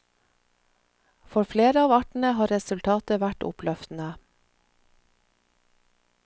For flere av artene har resultatet vært oppløftende.